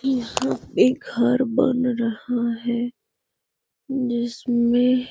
यहाँ पे घर बन रहा है जिसमे --